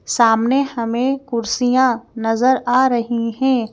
सामने हमें कुर्सियां नजर आ रही हैं।